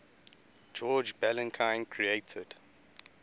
george balanchine created